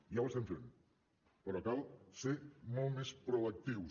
ja ho estem fent però cal ser molt més proactius